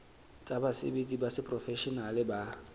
tsa basebetsi ba seprofeshenale ba